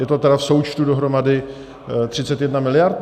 Je to tedy v součtu dohromady 31 miliard?